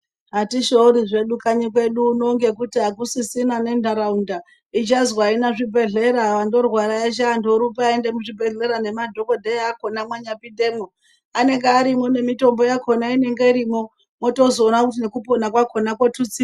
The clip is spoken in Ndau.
Atishoori zvedu kanyi kwedu uno ngekuti hakusisina nentaraunda ichazwi haina zvibhedhleya andorwara eshe antu orumbe oende kuzvibhedhleya nemadhokodheya akona mwanya pindemwo anenge arimwo nemitombo yakona inenge irimwo mwotozoona nekupona kwakona kwotutsirwa.